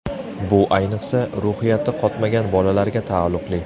Bu, ayniqsa, ruhiyati qotmagan bolalarga taalluqli.